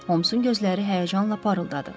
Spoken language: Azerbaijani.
Homsun gözləri həyəcanla parıldadı.